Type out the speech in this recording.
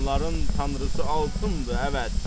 Onların tanrısı altındır, əvət.